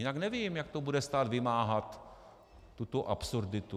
Jinak nevím, jak to bude stát vymáhat, tuto absurditu.